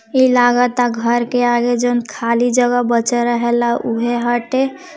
ऐसा लगता है कि घर के आगे जो खाली जगह बचा है वहाँ पे--